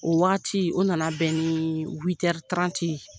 O waati o nana bɛ ni huit heures trente ye